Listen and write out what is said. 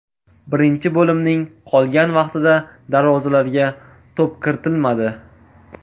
Birinchi bo‘limning qolgan vaqtida darvozalarga to‘p kiritilmadi.